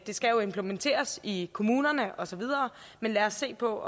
skal jo implementeres i kommunerne og så videre men lad os se på